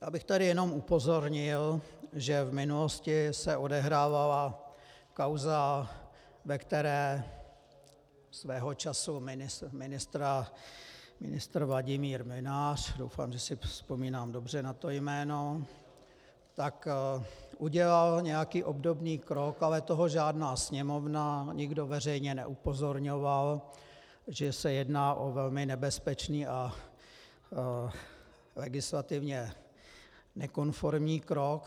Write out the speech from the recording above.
Já bych tady jenom upozornil, že v minulosti se odehrávala kauza, ve které svého času ministr Vladimír Mlynář, doufám, že si vzpomínám dobře na to jméno, tak udělal nějaký obdobný krok, ale toho žádná Sněmovna, nikdo veřejně neupozorňoval, že se jedná o velmi nebezpečný a legislativně nekonformní krok.